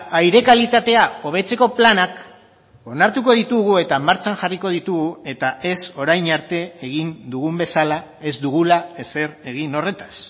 aire kalitatea hobetzeko planak onartuko ditugu eta martxan jarriko ditugu eta ez orain arte egin dugun bezala ez dugula ezer egin horretaz